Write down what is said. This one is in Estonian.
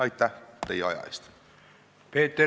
Aitäh teie aja eest!